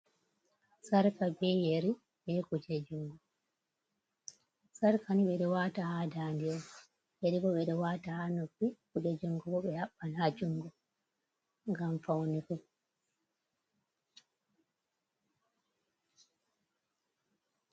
"Sarka ɓe yeri be kuje juɗe'Sarka ni ɓeɗo wata ha ndande yeri ɓeɗo wata ha noppi kuje jungo bo ɓe habban ha jungo ngam faunugo.